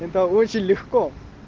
это очень легко